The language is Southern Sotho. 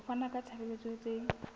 ho fana ka ditshebeletso tse